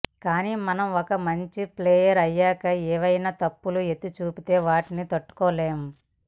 కానీ మనం ఒక మంచి ప్లేయర్ అయ్యాక ఏమైనా తప్పులు ఎత్తి చూపితే వాటిని తట్టుకోలేం